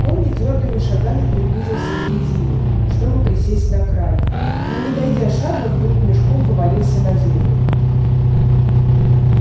он нетвёрдыми шагами приблизился к дрезине чтобы присесть на край но не дойдя шага вдруг мешком повалился на землю